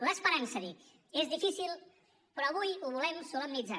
l’esperança dic és difícil però avui ho volem solemnitzar